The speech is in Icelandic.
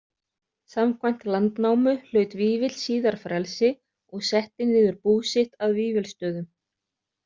Samkvæmt Landnámu hlaut Vífill síðar frelsi og setti niður bú sitt að Vífilsstöðum